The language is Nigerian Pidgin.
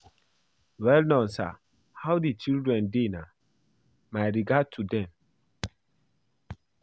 Well don Sir. How the children dey na? My regards to dem.